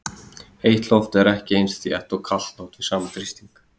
Heitt loft er ekki eins þétt og kalt loft við sama þrýsting.